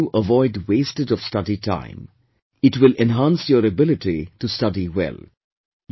It will help you avoid wastage of study time; it will enhance your ability to study well